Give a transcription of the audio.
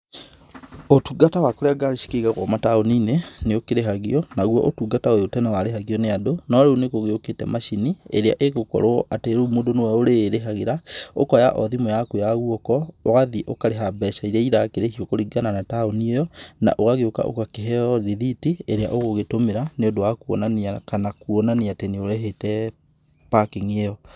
Ũtungata wa kũrĩa ngari cikĩigagwo mataoninĩ, nĩ ũkĩrĩhagio. Naguo ũtungata ũyũ tene warĩhagio nĩ andũ no rĩu nĩ gũgĩokĩte macini ĩrĩa ĩgũkorwo atĩ rĩu mũndũ nĩwe ũrĩrĩhagĩra ũkoya o thimũ yaku ya guoko ũgathiĩ ũkarĩha mbeca iria irakĩrĩhĩo kũringana na taoni ĩyo, na ũgagĩoka ũgakĩheyo rĩthiti ĩria ũgũgĩtũmĩra nĩ ũndũ wa kuonania kana nĩ ũrĩhĩte parking ĩyo.